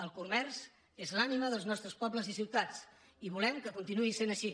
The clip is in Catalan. el comerç és l’ànima dels nostres pobles i ciutats i volem que continuï sent així